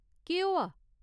केह्‌‌ होआ ?